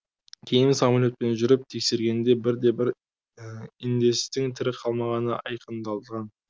кейін самолетпен жүріп тексергенде бір де бір индеецтың тірі қалмағаны айқындалған